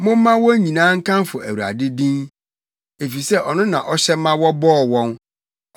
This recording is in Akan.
Momma wɔn nyinaa nkamfo Awurade din, efisɛ ɔno na ɔhyɛ ma wɔbɔɔ wɔn.